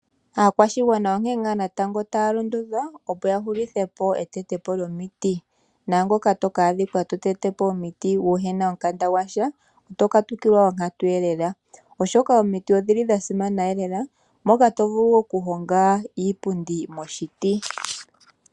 Aakwashigwana onkee ngaa natango taya londodhwa opo ya hulithepo etetwepo lyomiti . Naangoka to ka adhika to tetepo omiti kuna omukanda gwasha otokatukilwa onkatu lela oshoka omiti odhili dha simana lela moka tovulu okuhonga iipundi moshiti.